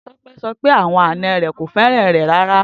Tope sọ pe awọn ana rẹ ko fẹran rẹ rara.